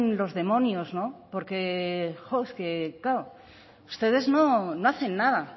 los demonios porque claro ustedes no hacen nada